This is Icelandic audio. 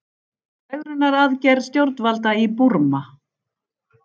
Fegrunaraðgerð stjórnvalda í Búrma